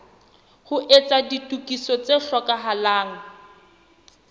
ho etsa ditokiso tse hlokahalang